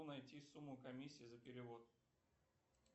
найти сумму комиссии за перевод